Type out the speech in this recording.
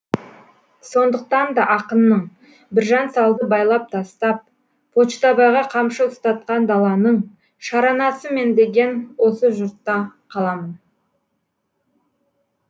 сондықтан да ақынның біржан салды байлап тастап почтабайға қамшы ұстатқан даланың шаранасы мен деген осы жұртта қаламын